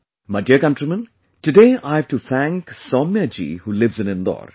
My dear countrymen, today I have to thank Soumya ji who lives in Indore